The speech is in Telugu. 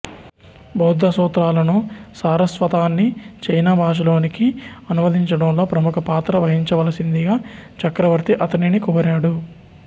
బౌద్ధ సూత్రాలను సారస్వతాన్ని చైనా భాషలోనికి అనువదించడంలో ప్రముఖ పాత్ర వహించవలసిందిగా చక్రవర్తి అతనిని కోరాడు